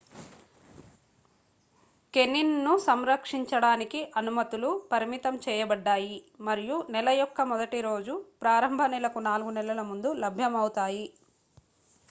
canine ను సంరక్షించడానికి అనుమతులు పరిమితంచేయబడ్డాయి మరియు నెల యొక్క మొదటి రోజు ప్రారంభ నెల కు నాలుగు నెలల ముందు లభ్యం అవుతాయి